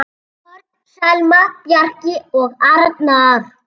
Börn: Selma, Bjarki og Arnar.